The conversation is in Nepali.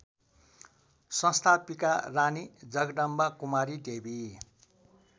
संस्थापिका रानी जगदम्बाकुमारीदेवी